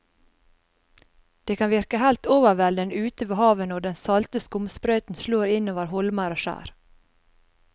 Det kan virke helt overveldende ute ved havet når den salte skumsprøyten slår innover holmer og skjær.